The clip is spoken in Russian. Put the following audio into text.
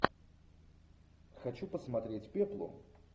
хочу посмотреть пеплум